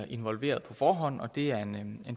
involveret på forhånd og det er en